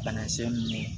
Banakisɛ ninnu